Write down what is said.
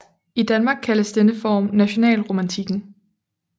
I Danmark kaldes denne form nationalromantikken